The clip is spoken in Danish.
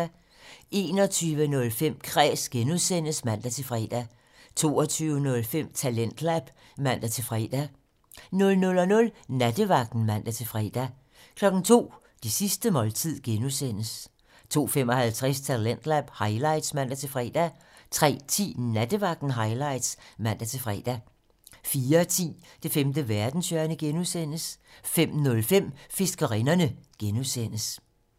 21:05: Kræs (G) (man-fre) 22:05: Talentlab (man-fre) 00:00: Nattevagten (man-fre) 02:00: Det sidste måltid (G) 02:55: Talentlab highlights (man-fre) 03:10: Nattevagten Highlights (man-fre) 04:10: Det femte verdenshjørne (G) 05:05: Fiskerinderne (G)